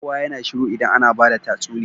Kowa yAna shiru idan ana bada tatsuniya